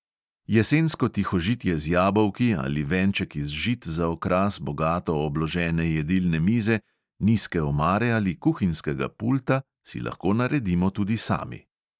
Jesensko tihožitje z jabolki ali venček iz žit za okras bogato obložene jedilne mize, nizke omare ali kuhinjskega pulta si lahko naredimo tudi sami.